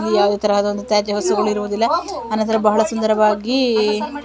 ಇಲ್ಲಿ ಯಾವುದೇ ತರಹ ಆದಂತಹ ತ್ಯಾಜ್ಯ ವಸ್ತುಗಳು ಇರುವುದಿಲ್ಲ ಅಂದರೆ ಬಹಳ ಸುಂದರವಾಗಿ--